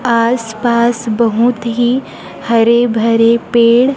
आस पास बहुत ही हरे भरे पेड़--